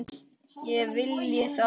Ég vilji það?